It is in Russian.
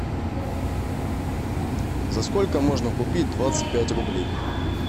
за сколько можно купить двадцать пять рублей